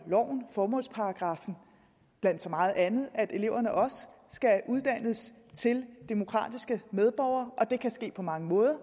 formålsparagraf som blandt så meget andet at eleverne også skal uddannes til demokratiske medborgere og det kan ske på mange måder